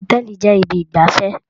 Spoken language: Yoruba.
Hotẹẹli jẹ ibi igbafẹ.